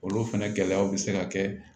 Olu fɛnɛ gɛlɛyaw bɛ se ka kɛ